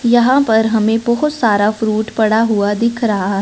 यहां पर हमे बहोत सारा फ्रूट पड़ा हुआ दिख रहा--